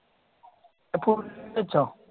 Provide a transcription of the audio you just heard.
ഇപ്പം വെച്ചോ